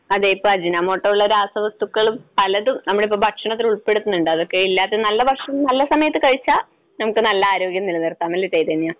അതെയതെ. ഇപ്പോൾ അജിനോമോട്ടോ പോലുള്ള രാസവസ്തുക്കളും പലതും നമ്മളിപ്പോ ഭക്ഷണത്തിൽ ഉൾപ്പെടുത്തുന്നുണ്ട്. അതൊക്കെ ഇല്ലാത്ത നല്ല ഭക്ഷണം നല്ല സമയത്ത് കഴിച്ചാ നമുക്ക് നല്ല ആരോഗ്യം നിലനിർത്താം. അല്ലെ ചൈതന്യ?